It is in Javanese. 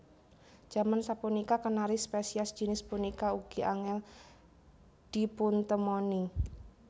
Jaman sapunika Kenari spesies jinis punika ugi angèl dipuntemoni